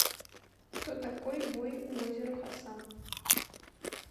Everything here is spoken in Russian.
кто такой бои у озера хасан